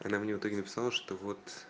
она мне в итоге написала что вот